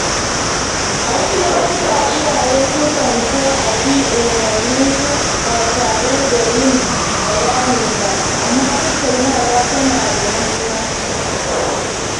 A wasu lokuta, iyaye sukan so a bi umarninsu ba tare da yin bayani ba, amma tattaunawa tana da muhimmanci.